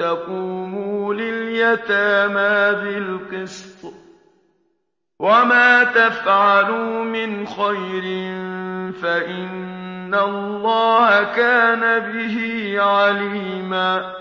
تَقُومُوا لِلْيَتَامَىٰ بِالْقِسْطِ ۚ وَمَا تَفْعَلُوا مِنْ خَيْرٍ فَإِنَّ اللَّهَ كَانَ بِهِ عَلِيمًا